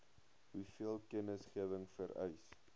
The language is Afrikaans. hoeveel kennisgewing vereis